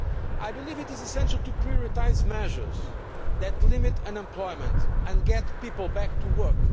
I believe it is essential to prioritise measures that limit unemployment and get people back to work.